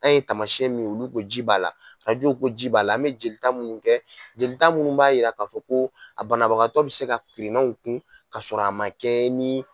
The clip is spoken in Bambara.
An ye taamasiyɛn min ye olu ko ji b'a la arajo ko ko ji b'a la an mɛ jeli minnu kɛ jeli minnu b'a yira k'a fɔ ko a banabagatɔ bɛ se ka kirinaw kun ka sɔrɔ a man kɛ ni